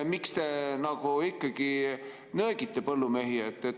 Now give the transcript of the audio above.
Miks te nöögite põllumehi?